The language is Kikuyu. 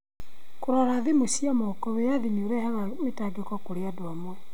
Kũrora thimũ cia moko Wĩyathi nĩ ũrehaga mĩtangĩko kũrĩ andũ amwe.